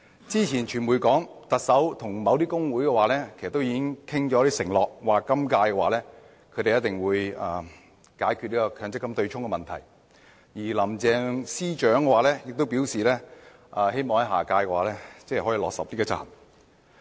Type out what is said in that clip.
之前傳媒報道，特首已經向某工會承諾，在本屆政府任期內解決強積金對沖問題，而林鄭司長亦表示希望下屆政府可以落實執行。